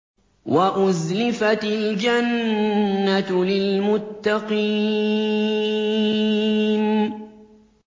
وَأُزْلِفَتِ الْجَنَّةُ لِلْمُتَّقِينَ